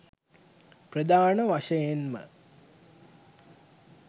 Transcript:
ප්‍රධාන වශයෙන්ම